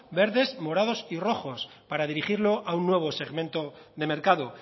verdes morados y rojos para dirigirlo a un nuevo segmento de mercado